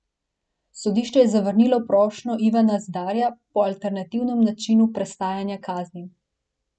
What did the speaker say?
Sodišče je zavrnilo prošnjo Ivana Zidarja po alternativnem načinu prestajanja kazni.